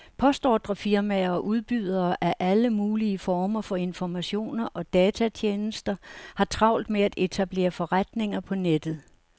Postordrefirmaer og udbydere af alle mulige former for informationer og datatjenester har travlt med at etablere forretninger på nettet.